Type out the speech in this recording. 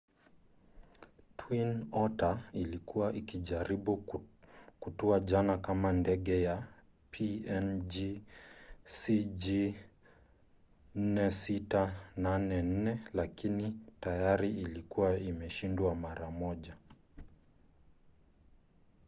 twin otter ilikuwa ikijaribu kutua jana kama ndege ya png cg4684 lakini tayari ilikuwa imeshindwa mara moja